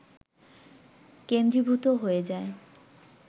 কেন্দ্রীভূত হয়ে যায়